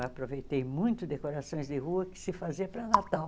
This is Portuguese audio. Eu aproveitei muito decorações de rua que se faziam para Natal.